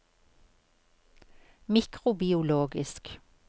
mikrobiologisk